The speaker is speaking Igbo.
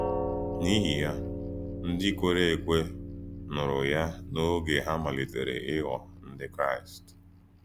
N’íhì yá, ndí kwèrè èkwè nùrù yá n’ògé hà ‘màlítèrè’ íghò Ndí Kraịst.